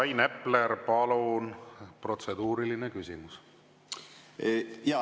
Rain Epler, palun, protseduuriline küsimus!